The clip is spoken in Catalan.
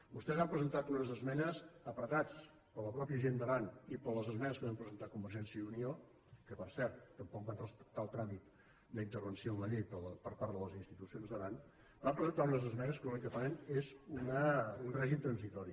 vostès han presentat unes esmenes apretats per la mateixa gent d’aran i per les esmenes que vam presentar convergència i unió que per cert tampoc van respectar el tràmit d’intervenció en la llei per part de les institucions d’aran van presentar unes esmenes que l’únic que fan és un règim transitori